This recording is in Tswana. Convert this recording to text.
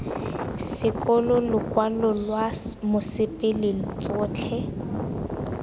sekolo lokwalo lwa mosepele tsotlhe